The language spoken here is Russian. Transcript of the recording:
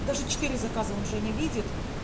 даже четыре заказа он же не видит